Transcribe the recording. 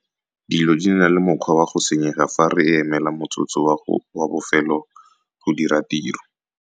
Dilo di na le mokgwa wa go senyega fa re emela motsotso wa bofelo go dira tiro!